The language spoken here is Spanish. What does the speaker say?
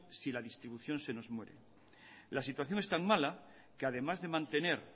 si la distribución se nos muere la situación es tan mala que además de mantener